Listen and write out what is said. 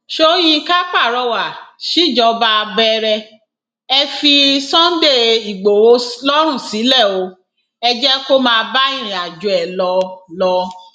sọyìnkà pàrọwà síjọba bẹrẹ ẹ fi sunday igbodò lọrùn sílẹ o ẹ jẹ kó máa bá irìnàjò ẹ lọ lọ